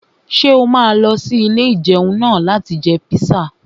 Ṣé o máa lọ sí ilé-ìjẹun náà láti jẹ píṣà?